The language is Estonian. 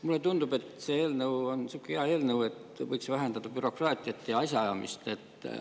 Mulle tundub, et see eelnõu on sihuke hea eelnõu, et võiks vähendada bürokraatiat ja asjaajamist.